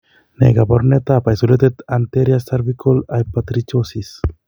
Ne kaabarunetap Isolated Anterior Cervical Hypertrichosis?